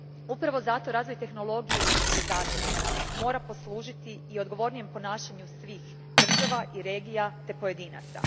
Upravo zato razvoj tehnologije i civilizacije mora poslužiti i odgovornijem ponašanju svih, država i regija te pojedinaca.